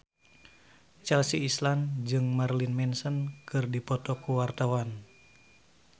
Chelsea Islan jeung Marilyn Manson keur dipoto ku wartawan